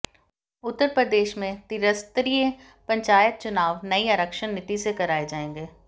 उत्तर प्रदेश में त्रिस्तरीय पंचायत चुनाव नई आरक्षण नीति से कराए जाएंगे